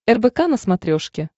рбк на смотрешке